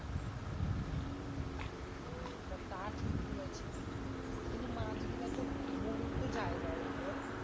আহ তা ঠিক বলেছিস কিন্তু। কিন্তু মাছ গুলান তুর মরি ও তো যায়লান তুর বল?